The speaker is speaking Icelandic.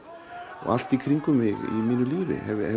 og allt í kringum mig í mínu lífi